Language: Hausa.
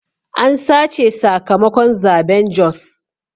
An sace sakamakon zaben Jos.